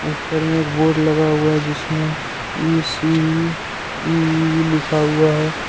ऊपर में एक बोर्ड लगा हुआ है जिसमें इ_सी_इ_इ_इ_इ लिखा हुआ है।